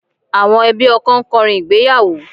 Àwọn ẹbí ọkọ ń kọrin ìgbéyàwó